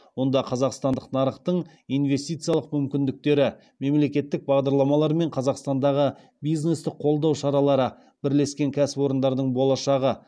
онда қазақстандық нарықтың инвестициялық мүмкіндіктері мемлекеттік бағдарламалар мен қазақстандағы бизнесті қолдау шаралары бірлескен кәсіпорындардың болашағы